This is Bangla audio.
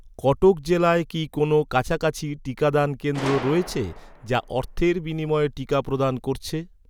কটক জেলায় কি কোনও কাছাকাছি টিকাদান কেন্দ্র রয়েছে, যা অর্থের বিনিময়ে টিকা প্রদান করছে?